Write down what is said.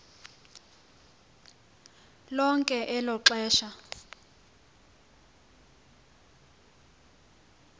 lonke elo xesha